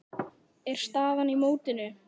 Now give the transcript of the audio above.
er staðan í mótinu.